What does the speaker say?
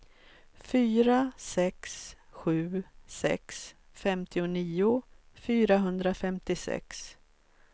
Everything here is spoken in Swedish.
fyra sex sju sex femtionio fyrahundrafemtiosex